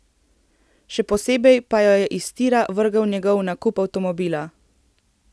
Še posebej pa jo je iz tira vrgel njegov nakup avtomobila.